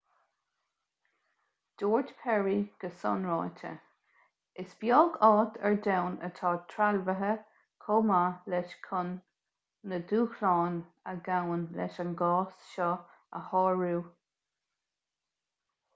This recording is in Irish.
dúirt perry go sainráite is beag áit ar domhan atá trealmhaithe chomh maith leis chun na dúshláin a ghabhann leis an gcás seo a shárú